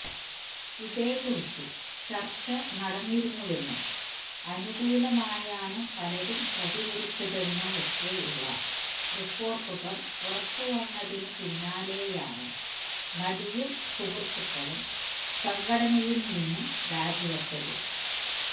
ഇതേക്കുറിച്ച് ചര്ച്ച നടന്നിരുന്നുവെന്നും അനുകൂലമായാണ് പലരും പ്രതികരിച്ചതെന്നുമൊക്കെയുള്ള റിപ്പോര്ട്ടുകള് പുറത്തുവന്നതിന് പിന്നാലെയായാണ് നടിയും സുഹൃത്തുക്കളും സംഘടനയില് നിന്നും രാജി വെച്ചത്